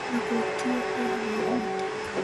lokruok tiyo e alwora matek